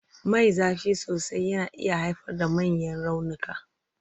Mai zafi sosai yana iya haifar da manyan raunuka.